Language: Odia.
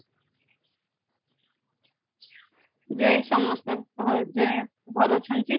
ଯେ ସମସ୍ତେ ଭଲ ଅଛିନ୍ତି